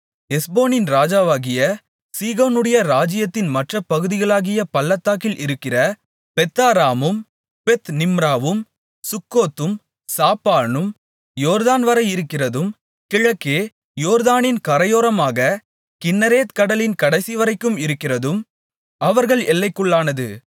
எஸ்போனின் ராஜாவாகிய சீகோனுடைய ராஜ்யத்தின் மற்றப் பகுதிகளாகிய பள்ளத்தாக்கில் இருக்கிற பெத்தாராமும் பெத்நிம்ராவும் சுக்கோத்தும் சாப்போனும் யோர்தான்வரை இருக்கிறதும் கிழக்கே யோர்தானின் கரையோரமாக கின்னரேத் கடலின் கடைசிவரைக்கும் இருக்கிறதும் அவர்கள் எல்லைக்குள்ளானது